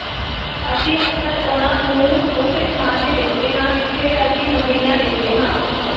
ਅਸੀਂ ਅਕਸਰ ਉਨ੍ਹਾਂ ਨੂੰ ਉਸੇ ਥਾਂ ਤੇ ਦੇਖਦੇ ਹਾਂ ਜਿੱਥੇ ਅਸੀਂ ਮੱਕੜੀਆਂ ਦੇਖਦੇ ਹਾਂ